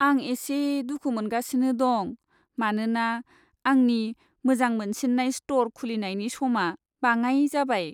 आं एसे दुखु मोनगासिनो दं मानोना आंनि मोजां मोनसिन्नाय स्ट'र खुलिनायनि समा बाङाइ जाबाय।